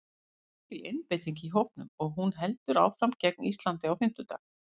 Það er mikil einbeiting í hópnum og hún heldur áfram gegn Íslandi á fimmtudag.